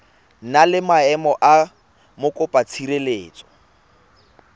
na le maemo a mokopatshireletso